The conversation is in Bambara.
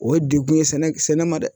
O ye degun ye sɛnɛ ma dɛ!